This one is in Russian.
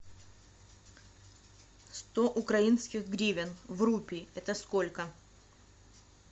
сто украинских гривен в рупии это сколько